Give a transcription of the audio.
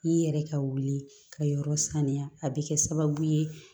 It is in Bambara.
I yɛrɛ ka wuli ka yɔrɔ saniya a bɛ kɛ sababu ye